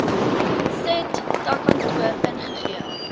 said takkantoor ingegee